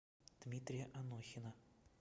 дмитрия анохина